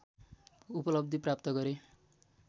उपलब्धि प्राप्त गरे